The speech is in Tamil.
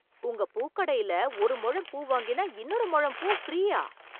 உங்க பூக்கடையில் ஒரு முழம் பூ வாங்கினால் இன்னொரு முழம் பூ ஃப்ரீயா!